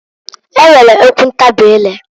E nwere okwu ntabị ire.